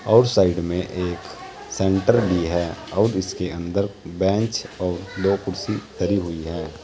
और साइड में एक सेंटर भी है और इसके अंदर बेंच और दो कुर्सी धरी हुई हैं।